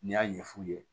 N'i y'a ɲɛ f'u ye